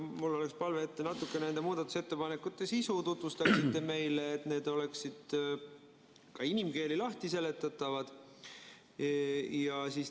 Mul oleks palve, et te natukene nende muudatusettepanekute sisu meile tutvustaksite, et need oleksid ka inimkeeli lahti seletatud.